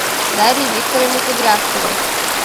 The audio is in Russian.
дарье викторовне кудрявцевой